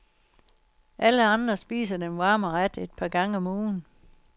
Andre spiser den varme ret et par gange om ugen.